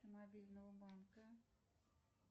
мобильного банка